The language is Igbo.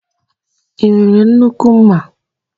I nwere nnukwu ḿmà?